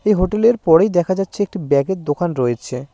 এই হোটেলের পরেই দেখা যাচ্ছে একটি ব্যাগের দোকান রয়েছে।